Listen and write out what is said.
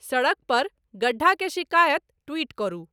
सड़क पर गड्ढा के शिकायत ट्वीट करू